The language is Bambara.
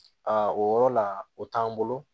o yɔrɔ la o t'an bolo